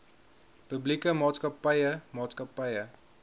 publieke maatskappye maatskappye